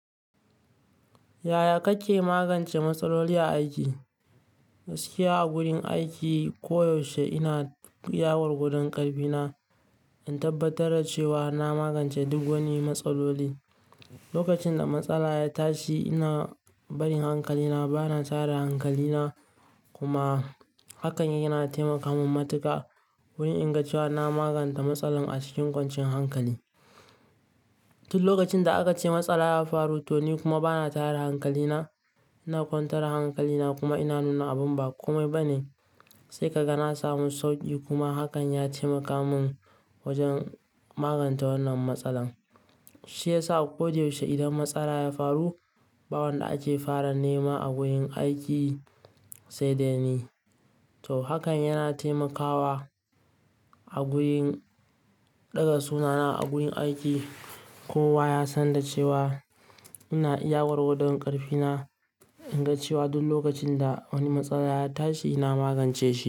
Yaya kake magance matsaloli a aiki? Gaskiya a wurin aiki koyaushe ina iya gwargwadan ƙarfi na, in tabbatar da cewa na magance duk wani matsaloli. Lokacin da matsala ya tashi, ina barin hankali na, bana tara hankali na kuma hakan yana taimaka mun matuka wurin in ga cewa na maganta matsalar a cikin kwanciyan hankali. Tun lokacin da aka ce matsala ya faru to ni kuma bana tara hankali na, ina kwantar hankali na kuma ina nuna abun ba kome ba ne, sai ka ga na samu sauƙi kuma hakan ya taimaka mun wajen magance wannan matsalar. Shi ya sa koda yaushe idan matsala ya faru, ba wanda ake fara nema a gurin aiki sai dai ni. To hakan yana taimakawa a gurin ɗaga sunana a gurin aiki. Kowa ya san da cewa ina iya gwargwadon ƙarfi na, in ga cewa duk lokacin da wani matsala ya tashi na magance shi.